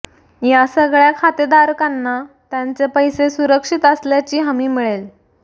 या सगळ्या खातेदारकांना त्यांचे पैसे सुरक्षित असल्याची हमी मिळेल